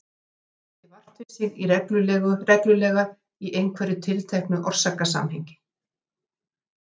Draugar gera ekki vart við sig reglulega í einhverju tilteknu orsakasamhengi.